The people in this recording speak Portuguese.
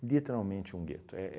Literalmente um gueto. É